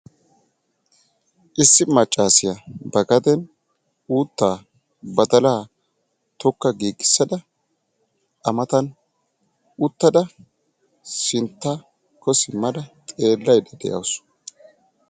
Issi maccasiya ba gaden uuttaa, badalaa tokka giggisada a matan uttada sinttako simmada xeelayda deawusu.